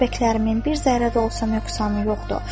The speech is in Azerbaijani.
göz bəbəklərimin bir zərrə də olsa nöqsanı yoxdur.